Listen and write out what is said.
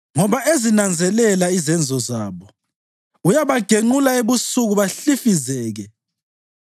Ngoba ezinanzelela izenzo zabo, uyabagenqula ebusuku bahlifizeke.